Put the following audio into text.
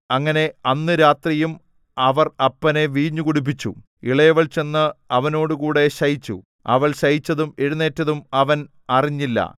അങ്ങനെ അന്ന് രാത്രിയും അവർ അപ്പനെ വീഞ്ഞു കുടിപ്പിച്ചു ഇളയവൾ ചെന്ന് അവനോടുകൂടെ ശയിച്ചു അവൾ ശയിച്ചതും എഴുന്നേറ്റതും അവൻ അറിഞ്ഞില്ല